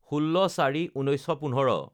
১৬/০৪/১৯১৫